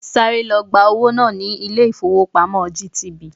Sáré lọ gba owó wá ní ilé-ifowopamo GTB.